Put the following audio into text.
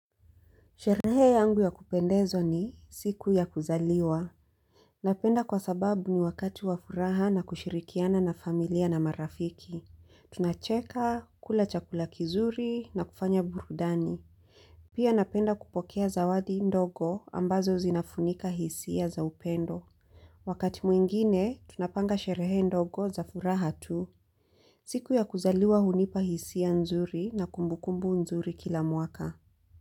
Sherehe yangu ya kupendezwa ni siku ya kuzaliwa. Napenda kwa sababu ni wakati wa furaha na kushirikiana na familia na marafiki. Tunacheka, kula chakula kizuri na kufanya burudani. Pia napenda kupokea zawadi ndogo ambazo zinafunika hisia za upendo. Wakati mwingine, tunapanga sherehe ndogo za furaha tu. Siku ya kuzaliwa hunipa hisia nzuri na kumbukumbu nzuri kila mwaka.